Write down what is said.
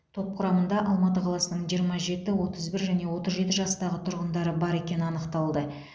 топ құрамында алматы қаласының жиырма жеті отыз бір және отыз жеті жастағы тұрғындары бар екені анықталды